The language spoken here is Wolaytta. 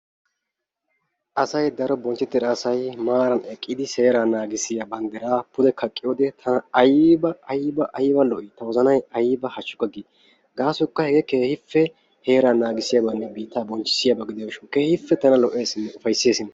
Asay daro bonchchetida asay issippe eqqidi seeray nanggissiyaa banddira pude kaqqiyo wode tana aybba! aybba! aybba1 lo''i ta wozanay aybba hashshsukka gii! gasoykka keehippe heeraa naagissiyabanne biitta bonchchissiyaaba gidiyo gishaw keehippe tana lo''eessinne ufaysses.